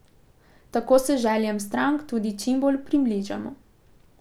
Tako se željam strank tudi čimbolj približamo.